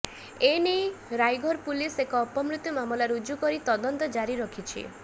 ଏେନଇ ରାଇଘର ପୁଲିସ ଏକ ଅପମୃତ୍ୟୁ ମାମଲା ରୁଜୁ କରି ତଦନ୍ତ ଜାରି ରଖିଛି